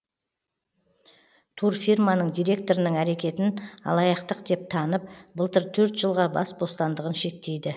турфирманың директорының әрекетін алаяқтық деп танып былтыр төрт жылға бас бостандығын шектейді